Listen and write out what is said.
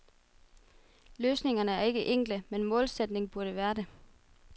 Løsningerne er ikke enkle, men målsætningen burde være det.